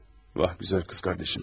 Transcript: Vah, gözəl qız qardaşım mənim.